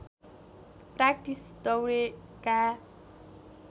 practice दौरेका